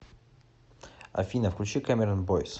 афина включи кэмерон бойс